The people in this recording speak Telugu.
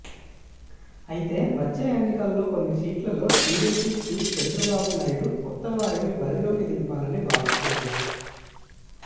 అయితే వచ్చే ఎన్నికల్లో కొన్ని సీట్లలో టీడీపీ చీఫ్ చంద్రబాబునాయుడు కొత్త వారిని బరిలోకి దింపాలని భావిస్తున్నారు